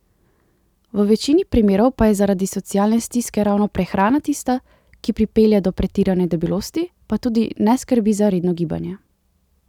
V večini primerov pa je zaradi socialne stiske ravno prehrana tista, ki pripelje do pretirane debelosti, pa tudi neskrbi za redno gibanje.